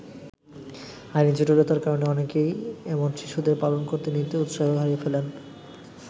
আইনি জটিলতার কারণে অনেকেই এমন শিশুদের পালন করতে নিতে উৎসাহ হারিয়ে ফেলেন।